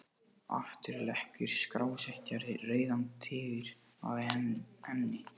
Aftur leggur skrásetjari Rauðan Tígur að enni.